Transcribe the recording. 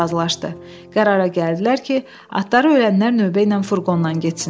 Qərara gəldilər ki, atları ölənlər növbə ilə furqondan getsinlər.